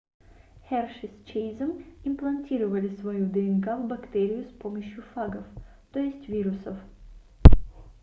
херши с чейзом имплантировали свою днк в бактерию с помощью фагов т е вирусов